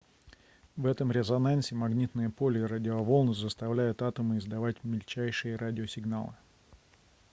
в этом резонансе магнитное поле и радиоволны заставляют атомы издавать мельчайшие радиосигналы